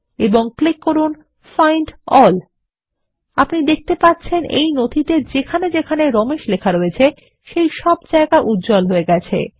এবং ক্লিক করুন find all আপনি দেখতে পাচ্ছেন এই নথিতে যেখানে যেখানে রমেশ লেখা রয়েছে সেই সব জায়গা উজ্জ্বল হয়ে গেছে